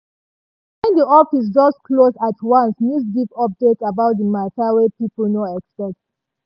wen di office just close at once news give update about di matter wey people nor expect.